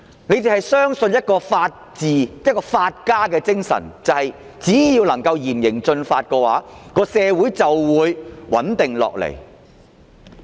他們相信的法治和法家精神，就是只要施以嚴刑峻法，社會便會穩定下來。